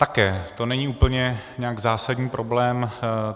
Také to není úplně nějak zásadní problém.